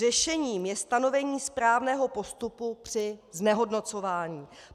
Řešením je stanovení správného postupu při znehodnocování.